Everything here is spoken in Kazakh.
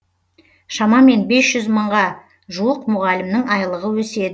шамамен бес жүз мыңға жуық мұғалімнің айлығы өседі